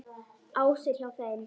Ása er hjá þeim.